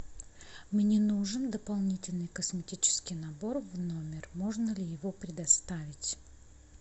мне нужен дополнительный косметический набор в номер можно ли его предоставить